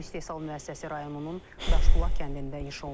Bu istehsal müəssisəsi rayonunun Daşbulaq kəndində inşa olunub.